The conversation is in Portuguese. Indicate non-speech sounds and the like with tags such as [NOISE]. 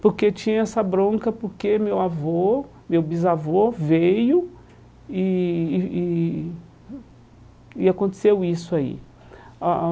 Porque tinha essa bronca, porque meu avô, meu bisavô veio e e e aconteceu isso aí. [UNINTELLIGIBLE]